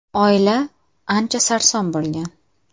Oila ancha sarson bo‘lgan.